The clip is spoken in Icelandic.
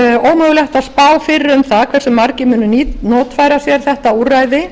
ómögulegt að spá fyrir um það hversu margir munu notfæra sér þetta úrræði